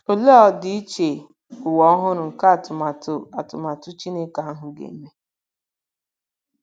Olee ọdịiche ụwa ọhụrụ nke atụmatụ atụmatụ Chineke ahụ ga-eme!